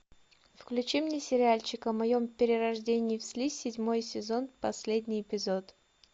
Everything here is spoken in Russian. включи мне сериальчик о моем перерождении в слизь седьмой сезон последний эпизод